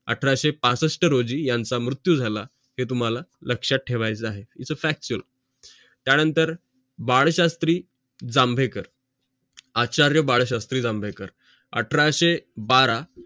अठराशे पासष्ट रोजी यांचं मृत्यू झाला हे तुम्हाला लक्षात ठेवाच आहे its factual त्या नंतर बाळशात्री जांभेकर आचार्य बाळशात्री जांभेकर अठराशे बारा